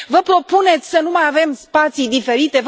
Vă propuneți să nu mai avem spații diferite?